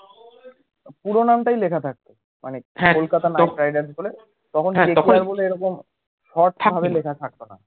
পুরোনামটাই লেখা থাকতো